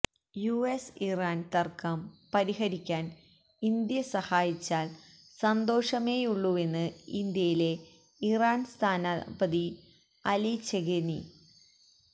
U S Iran തര്ക്കം പരിഹരിക്കാന് India സഹായിച്ചാല് സന്തോഷമേയുള്ളൂവെന്ന് ഇന്ത്യയിലെ ഇറാന് സ്ഥാനാപതി അലി ചെഗെനി